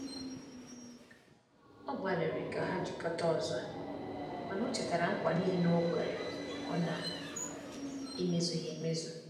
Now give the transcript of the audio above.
Ọ gbaliri ka ha jikota ọzọ, mana o chetara ngwa nile okwere ọ na eme zughi emezụ